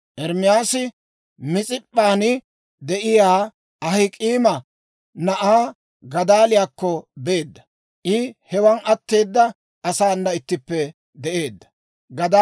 Ermaasi Mis'ip'p'an de'iyaa Ahik'aama na'aa Gadaaliyaakko beedda. I hewan atteeda asaana ittippe de'eedda.